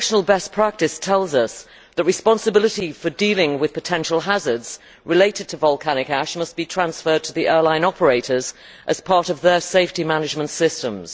International best practice tells us that responsibility for dealing with potential hazards related to volcanic ash must be transferred to the airline operators as part of their safety management systems.